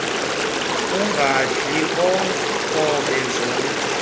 ungadli nkobe zamntu